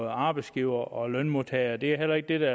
arbejdsgivere og lønmodtagere og det er heller ikke det der